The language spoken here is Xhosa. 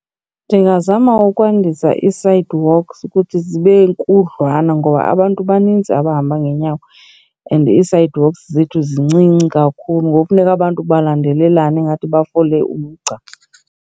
Ndingazama ukwandisa ii-sidewalks ukuthi zibe nkudliwana ngoba abantu banintsi abahamba ngeenyawo and ii-sidewalks zethu zincinci kakhulu ngoku funeka abantu balandelelane ingathi bafole umgca.